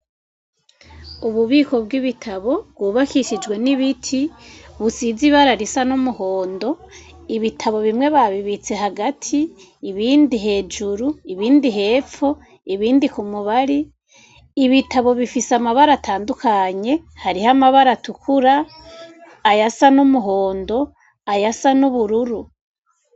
Ububiko bwibitabo bwubakishijwe nibiti busize nibara risa numuhondo ibitabo bimwe babibitse hagati ibindi hejuru ibindi hepfo ibindi kumubare ibitabo bifise amabara atandukanye hariho amabara atukura ayasa numuhondo ayasa nubururu.